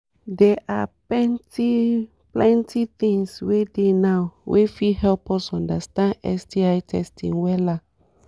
they are ppenty-plenty things wey dey now wey fit help us understand sti testing wella